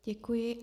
Děkuji.